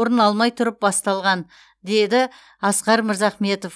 орын алмай тұрып басталған деді асқар мырзахметов